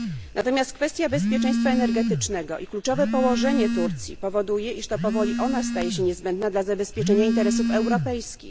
Natomiast kwestia bezpieczeństwa energetycznego i kluczowe położenie Turcji powoduje, iż powoli to ona staje się niezbędna dla zabezpieczenia interesów europejskich.